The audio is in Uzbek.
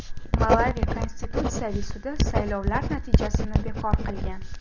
Malavi Konstitutsiyaviy sudi saylovlar natijasini bekor qilgan.